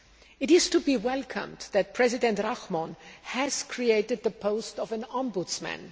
It is to be welcomed that President Rahmon has created the post of an ombudsman.